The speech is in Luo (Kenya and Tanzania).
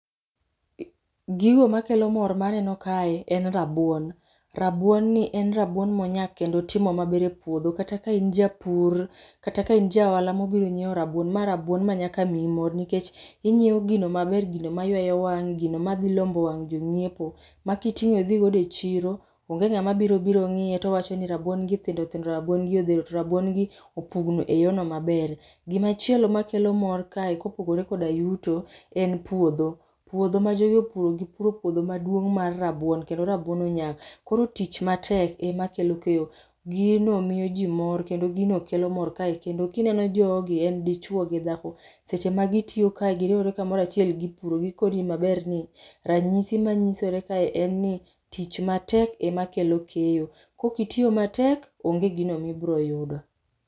Gigo makelo mor maneno kae en rabuon. Rabuon ni en rabuon monyak kendo otimo maber epuodho kata kain japur, kata kain ja ohala mobiro nyiew rabuon, ma rabuon ma nyaka miyi mor nikech inyiew gino maber ,gino mayweyo wang, gino madhi lombo wang jonyiepo ma kitingo idho go e chiro onge ngama biro biro ngiye towachoni rabuon gi thindo thindo ,rabuon gi odhero to rabuon gi opugno e yono maber. Gimachielo makelo mor kae kopogore koda yuto en puodho, puodho ma jogi opuro gipuro puodho maduong mar rabuon kendo rabuon onyak, koro tich matek ema kelo keyo. Gino miyo jii mor kendo gino kelo mor kae kendo kineno jogi en dichuo gi dhako, seche ma gitiyo kae giriwre kamoro achiel gipuro, gi maber ni, ranyisi manyirore kae en ni tich matek ema kelo keyo, kaok itiyo matek onge gino ma ibro yudo.